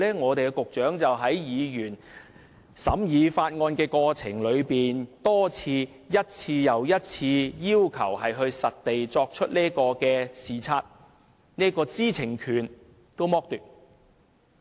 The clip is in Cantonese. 我們的局長在審議法案的過程中多次、一次又一次地拒絕議員進行實地視察的要求，他連這個知情權也剝奪。